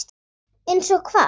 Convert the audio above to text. Einsog hvað?